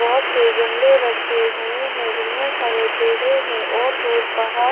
बहोत से गमले रखे हुए हैं जिनमें हरे पेढ़े हैं और दूर पहाड़--